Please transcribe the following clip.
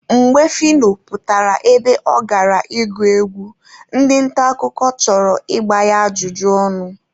Mgbe Phyno pụtara ebe ọ gara ịgụ egwu, ndị nta akụkọ chọrọ igba ya ajụjụ ọnụ.